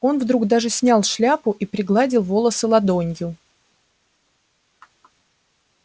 он вдруг даже снял шляпу и пригладил волосы ладонью